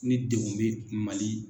Ni degun bɛ Mali.